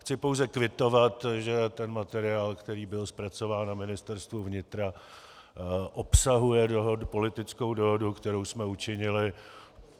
Chci pouze kvitovat, že tento materiál, který byl zpracován na Ministerstvu vnitra, obsahuje politickou dohodu, kterou jsme učinili.